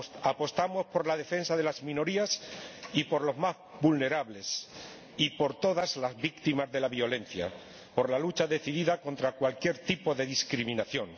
Apostamos por la defensa de las minorías y por los más vulnerables, y por todas las víctimas de la violencia, así como por la lucha decidida contra cualquier tipo de discriminación.